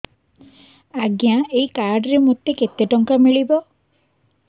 ଆଜ୍ଞା ଏଇ କାର୍ଡ ରେ ମୋତେ କେତେ ଟଙ୍କା ମିଳିବ